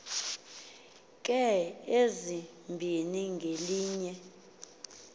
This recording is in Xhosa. ka ezimbini ngelitye